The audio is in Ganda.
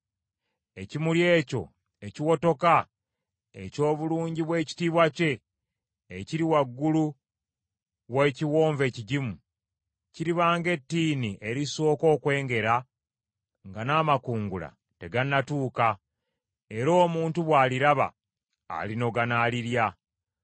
Ekimuli ekyo ekiwotoka eky’obulungi bw’ekitiibwa kye ekiri waggulu w’ekiwonvu ekigimu, kiriba ng’ettiini erisooka okwengera nga n’amakungula tegannatuuka, era omuntu bw’aliraba alinoga n’alirya.